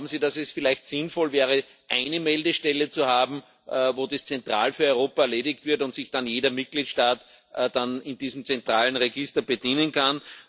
Glauben Sie, dass es vielleicht sinnvoll wäre, eine Meldestelle zu haben, wo das zentral für Europa erledigt wird und sich dann jeder Mitgliedstaat in diesem zentralen Register bedienen kann?